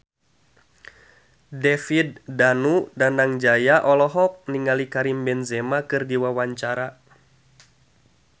David Danu Danangjaya olohok ningali Karim Benzema keur diwawancara